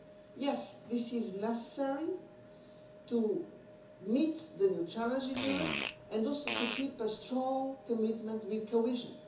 Yes, this is necessary to meet the new challenges in Europe and also to keep a strong commitment to cohesion.